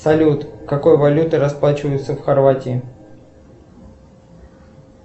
салют какой валютой расплачиваются в хорватии